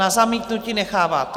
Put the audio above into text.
Na zamítnutí necháváte.